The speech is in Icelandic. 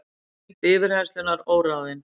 Lengd yfirheyrslunnar óráðin